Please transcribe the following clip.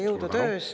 Jõudu töös!